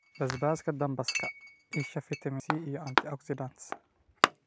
Basbaaska dambaska: isha fiitamiin C iyo antioxidants.